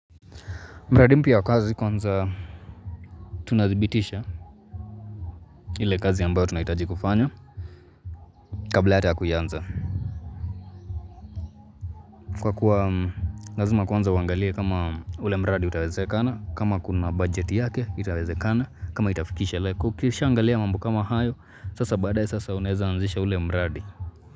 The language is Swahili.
Mradi mpya wa kazi kwanza tunadhibitisha ile kazi ambayo tunaitaji kufanya kabla hata ya kuianza Kwa kuwa Lazima kwanza uangalie kama ule mradi utawezekana kama kuna budget yake itawezekana kama itafikisha leku Kisha ukisha angalia mambo kama hayo sasa badae sasa unaeza anzisha ule mradi.